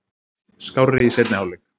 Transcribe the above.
Skárri í seinni hálfleik.